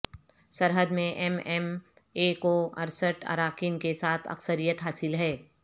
سرحد میں M M A کو ارسٹھ اراکین کے ساتھ اکثریت حاصل ہے